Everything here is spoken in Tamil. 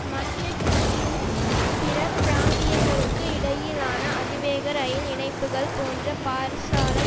மட்ரிட் மற்றும் பிற பிராந்தியங்களுக்கு இடையிலான அதிவேக ரெயில் இணைப்புகள் போன்ற பாரிசாலை